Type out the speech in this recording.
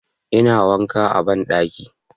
ina wanka a banɗaki